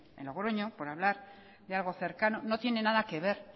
en logroño por hablar de lago cercano no tiene nada que ver